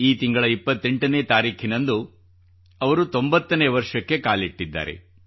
ಈ ತಿಂಗಳ 28 ನೇ ತಾರೀಖಿನಂದು ಅವರು 90ನೇ ವರ್ಷಕ್ಕೆ ಕಾಲಿಟ್ಟಿದ್ದಾರೆ